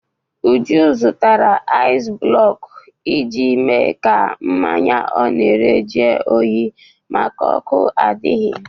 Uju gotere aịz blọkụ iji mee ka mmanya ọ na-ere jụọ oyi maka ọkụ adịghị.